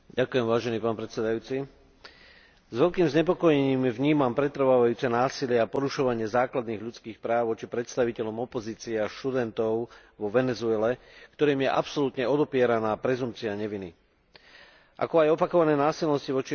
S veľkým znepokojením vnímam pretrvávajúce násilie a porušovanie základných ľudských práv voči predstaviteľom opozície a študentov vo Venezuele, ktorým je absolútne odopieraná prezumpcia neviny, ako aj opakované násilnosti voči opozícii.